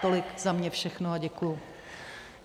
Tolik za mě všechno a děkuji.